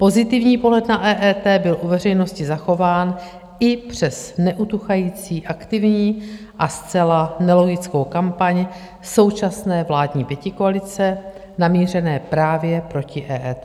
Pozitivní pohled na EET byl u veřejnosti zachován i přes neutuchající aktivní a zcela nelogickou kampaň současné vládní pětikoalice namířené právě proti EET.